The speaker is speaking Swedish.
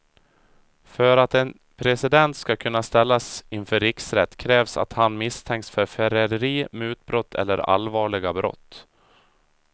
För att en president ska kunna ställas inför riksrätt krävs att han misstänks för förräderi, mutbrott eller allvarliga brott.